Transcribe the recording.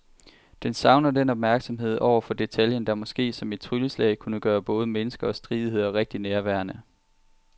Den savner den opmærksomhed over for detaljen, der måske som et trylleslag kunne gøre både mennesker og stridigheder rigtig nærværende.